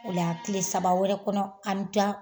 Ola tile saba wɛrɛ kɔnɔ an bɛ taa